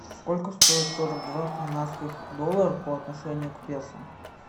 сколько стоит сорок два канадских доллара по отношению к песо